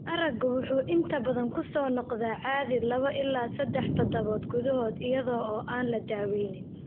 Araggu wuxuu inta badan ku soo noqdaa caadi 2-3 toddobaad gudahood iyada oo aan la daaweynin.